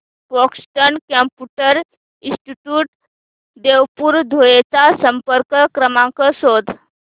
Boston computer institute Devpur Dhule चा संपर्क क्रमांक शोध